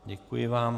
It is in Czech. Děkuji vám.